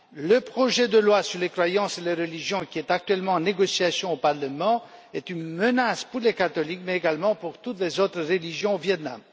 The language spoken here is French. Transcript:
Le projet de loi sur les croyances et les religions actuellement en négociation au parlement est une menace pour les catholiques, mais également pour toutes les autres religions au Viêt Nam.